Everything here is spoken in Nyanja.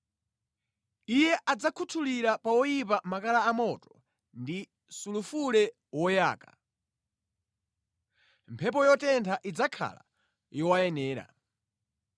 Iye adzakhuthulira pa oyipa makala amoto ndi sulufule woyaka; mphepo yotentha idzakhala yowayenera.